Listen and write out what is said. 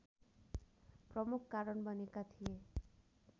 प्रमुख कारण बनेका थिए